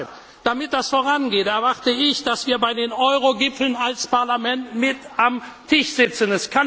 Und deshalb, damit das vorangeht, erwarte ich, dass wir bei den Eurogipfeln als Parlament mit am Tisch sitzen!